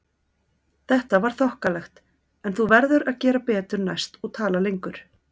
Þetta var þokkalegt en þú verður að gera betur næst og tala lengur